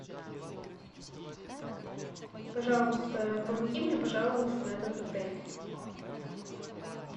пожалуйста помоги мне пожаловаться на этот отель